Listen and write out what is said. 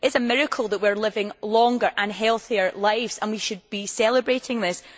It is a miracle that we are living longer and healthier lives and we should be celebrating this.